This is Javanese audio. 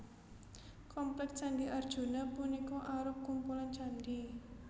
Komplék Candhi Arjuna punika arup kumpulan candhi